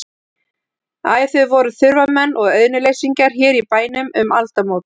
Æ, þau voru þurfamenn og auðnuleysingjar hér í bænum um aldamót.